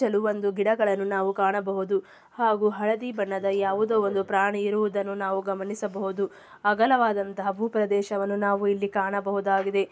ಗಿಡಗಳನ್ನು ನಾವು ಕಾಣಬಹುದು. ಹಾಗು ಹಳದಿ ಬಣ್ಣದ ಯಾವುದೊ ಒಂದು ಪ್ರಾಣಿ ಇರುವುದನ್ನು ನಾವು ಗಮನಿಸಬಹುದು. ಅಗಲವಾದಂತ ಭೂಪ್ರದೇಶವನ್ನು ನಾವು ಇಲ್ಲಿ ಕಾಣಬಹುದಾಗಿದೆ.